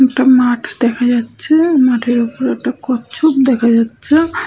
একটা মাঠ দেখা যাচ্ছে মাঠের ওপর একটা কচ্ছপ দেখা যাচ্ছে ।